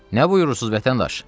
Nə buyurursuz, vətəndaş?